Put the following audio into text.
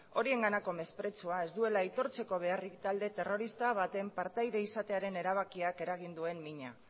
horienganako mesprezua ez duela aitortzeko beharrik talde terrorista baten partaide izatearen erabakiak eragin duen mina